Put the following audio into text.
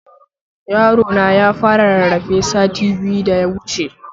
Yarona ya fara rarrafe sati biyu da yawuce